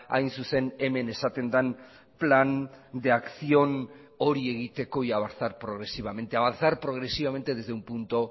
hain zuzen hemen esaten den plan de acción hori egiteko y avanzar progresivamente avanzar progresivamente desde un punto